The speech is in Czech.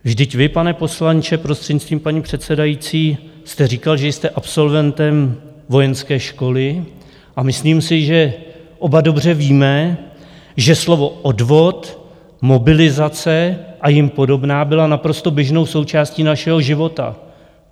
Vždyť vy, pane poslanče, prostřednictvím paní předsedající, jste říkal, že jste absolventem vojenské školy, a myslím si, že oba dobře víme, že slova odvod, mobilizace a jim podobná byla naprosto běžnou součástí našeho života.